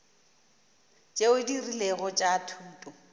tšeo di rilego tša thuto